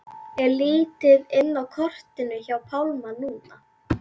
Er lítið inn á kortinu hjá Pálma núna?